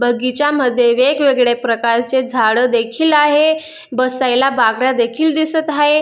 बगीच्या मध्ये वेगवेगळ्या प्रकारचे झाड देखील आहे बसायला बाकडा देखील दिसत हाये.